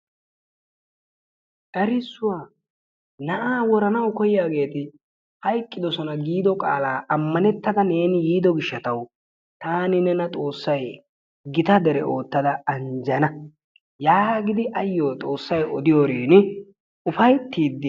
Erissuwaa na'aa woranawu koyyiyaageeti hayqqidoosona giido qaala ammanettada neeni biido gishshawu taani nena Xoossay gita dere oottada anjjanaa yaagidi ayyo xoossay odiyoorin ufayttiidi ...